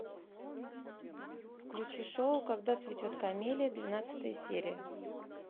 включи шоу когда цветет камелия двенадцатая серия